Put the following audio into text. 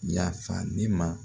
Yafa ne ma